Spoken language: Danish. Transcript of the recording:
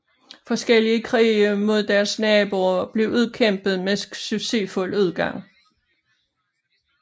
Forskellige krige mod dets naboer blev udkæmpet med succesfuld udgang